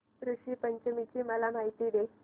ऋषी पंचमी ची मला माहिती दे